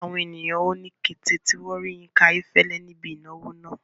Àwọn ènìyàn hó ní kété tí wọn rí Yinka Ayefele ní ibi ìnáwó náà.